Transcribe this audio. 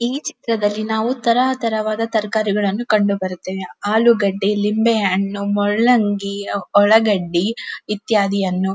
ಈ ಚಿತ್ರದಲ್ಲಿ ನಾವು ತರತರವಾದ ತರಕಾರಿಗಳನ್ನು ಕಂಡುಬರುತ್ತವೆ ಆಲೂಗಡ್ಡೆ ಲಿಂಬೆಹಣ್ಣು ಮೂಲಂಗಿ ಉಳ್ಳಾಗಡ್ಡಿ ಇತ್ಯಾದಿಯನ್ನು.